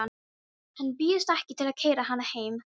Hann býðst ekki til að keyra hana heim.